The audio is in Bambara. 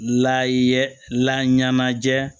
Lay ye laɲɛnajɛ